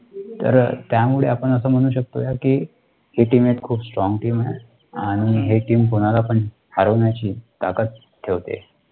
हि team एक खूप, strong team आणि हे TEAM कुणाला पण हरवण्याची ताकत ठेवते.